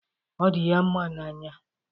Ọ dị ya mma n'anya